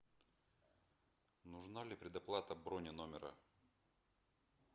нужна ли предоплата брони номера